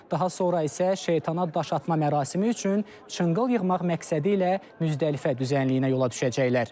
Daha sonra isə şeytana daşatma mərasimi üçün çınqıl yığmaq məqsədilə müzdəlifə düzənliyinə yola düşəcəklər.